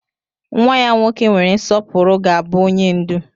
Nwa ya nwoke nwere nsọpụrụ ga-abụ onye ndú.